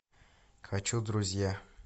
хочу друзья